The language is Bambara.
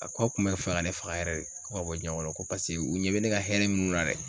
A ko ka kun bɛ fɛ ka ne faga yɛrɛ de ko ka bɔ diɲɛn kɔrɔ ko paseke u ɲɛ bɛ ne ka hɛrɛ munnu na dɛ